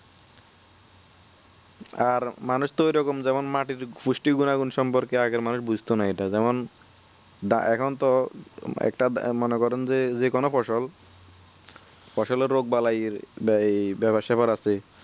আর মানুষ তো ঐরকম যেমন মাটির পুষ্টি গুনাগুন সম্পর্কে আগের মানুষ জানতো না যেমন এখন তো একটা মনে করেন যে যে কোনো ফসল ফসলের রোগ বেলাই বেপার সেপার আছে